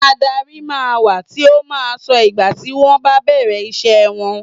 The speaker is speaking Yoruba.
Adárí máa ń wà tí ó máa ń sọ ìgbà tí wọn bá bẹ̀rẹ̀ ìṣe wọn.